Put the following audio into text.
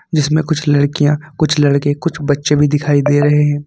जिसमें कुछ लड़कियां कुछ लड़के कुछ बच्चे भी दिखाई दे रहे हैं।